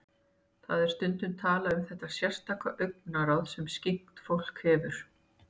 Það er stundum talað um þetta sérstaka augnaráð sem skyggnt fólk hefur.